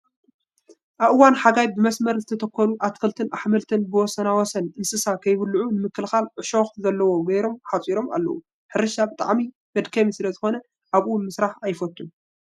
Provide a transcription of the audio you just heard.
ኣብ እዋን ሓጋይ ብመስመር ዝተተከሉ ኣትክልትን ኣሕምልት ብወሳናወሰን እንስሳ ከይበልዐኦ ንምክልካል ዕሸክ ዘለዎ ገይሮም ሓፂሮም ኣለው። ሕርሻ ብጣዕሚ መድከሚ ስለዝኮነ ኣብኡ ምስራሕ ኣይፈቱን ።